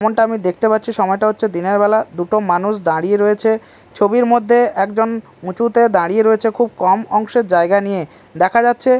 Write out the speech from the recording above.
যেমনটা আমি দেখতে পাচ্ছি সময়টা হচ্ছে দিনেরবেলা দুটো মানুষ দাঁড়িয়ে রয়েছে ছবির মধ্যে একজন উঁচুতে দাঁড়িয়ে রয়েছে খুব কম অংশের জায়গা নিয়ে দেখা যাচ্ছে--